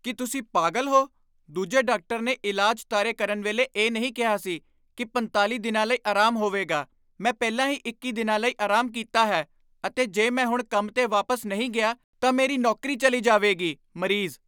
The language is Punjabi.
ਕੀ ਤੁਸੀਂ ਪਾਗਲ ਹੋ? ਦੂਜੇ ਡਾਕਟਰ ਨੇ ਇਲਾਜ ਤਾਰੇ ਕਰਨ ਵੇਲੇ ਇਹ ਨਹੀਂ ਕਿਹਾ ਸੀ ਕੀ ਪੰਤਾਲ਼ੀ ਦਿਨਾਂ ਲਈ ਆਰਾਮ ਹੋਵੇਗਾ ਮੈਂ ਪਹਿਲਾਂ ਹੀ ਇੱਕੀ ਦਿਨਾਂ ਲਈ ਆਰਾਮ ਕੀਤਾ ਹੈ ਅਤੇ ਜੇ ਮੈਂ ਹੁਣ ਕੰਮ ਤੇ ਵਾਪਸ ਨਹੀਂ ਗਿਆ ਤਾਂ ਮੇਰੀ ਨੌਕਰੀ ਚੱਲੀ ਜਾਵੇਗੀ ਮਰੀਜ਼